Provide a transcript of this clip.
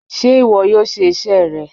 Ṣé ìwọ yóò ṣe iṣẹ́ rẹ?